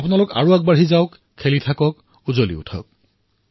আপোনালোক আগবাঢ়ক খেলক আৰু আনন্দত থাকক